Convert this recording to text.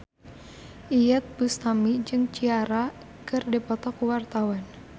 Iyeth Bustami jeung Ciara keur dipoto ku wartawan